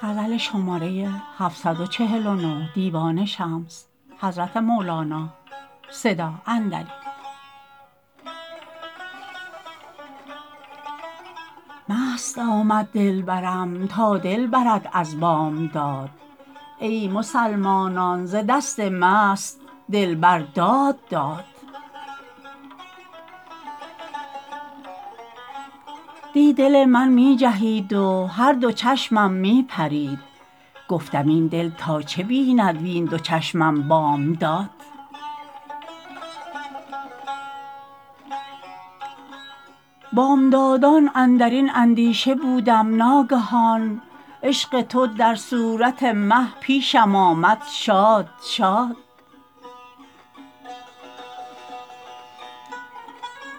مست آمد دلبرم تا دل برد از بامداد ای مسلمانان ز دست مست دلبر داد داد دی دل من می جهید و هر دو چشمم می پرید گفتم این دل تا چه بیند وین دو چشمم بامداد بامدادان اندر این اندیشه بودم ناگهان عشق تو در صورت مه پیشم آمد شاد شاد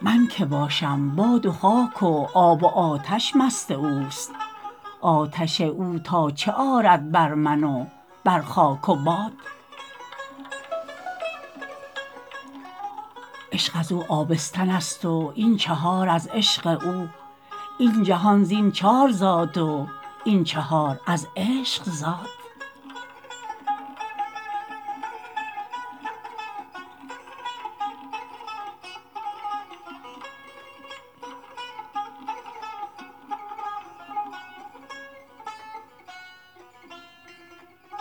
من که باشم باد و خاک و آب و آتش مست اوست آتش او تا چه آرد بر من و بر خاک و باد عشق از او آبستن ست و این چهار از عشق او این جهان زین چار زاد و این چهار از عشق زاد